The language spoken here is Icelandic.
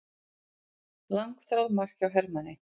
Langþráð mark hjá Hermanni